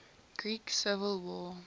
greek civil war